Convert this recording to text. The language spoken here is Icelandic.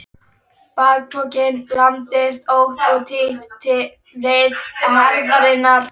Bakpokinn lamdist ótt og títt við herðarnar.